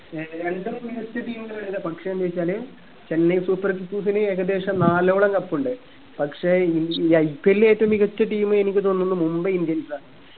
ഏർ എല്ലും മികച്ച team കളന്നെ പക്ഷെ എന്ന് വെച്ചാല് ചെന്നൈ super kings ല് ഏകദേശം നാലോളം cup ഉണ്ട് പക്ഷെ ഇൻ ഈ IPL ൽ ഏറ്റവും മികച്ച team എനിക്ക് തോന്നുന്നു മുംബൈ indians ആണ്